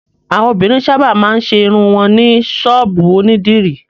Àwọn obìnrin sábà máa ń ṣe irun wọn ní ṣọ́ọ́bù onídìrí.